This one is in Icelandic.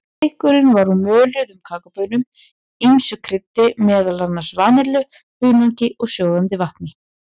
Drykkurinn var úr möluðum kakóbaunum, ýmsu kryddi, meðal annars vanillu, hunangi og sjóðandi vatni.